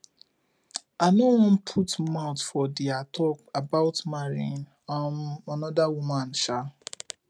i no wan put mouth for their talk about marrying um another woman um